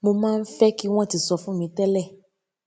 mo máa ń fé kí wón ti sọ fún mi télè